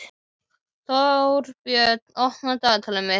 Þórbjörn, opnaðu dagatalið mitt.